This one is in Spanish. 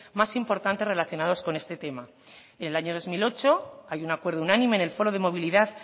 más importantes relacionados con este tema en el año dos mil ocho hay un acuerdo unánime en el foro de movilidad